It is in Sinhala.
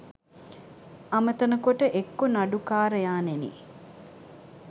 අමතන කොට එක්කෝ නඩුකාරයාණෙනි